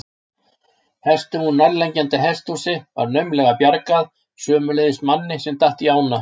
Hestum úr nærliggjandi hesthúsi var naumlega bjargað, sömuleiðis manni sem datt í ána.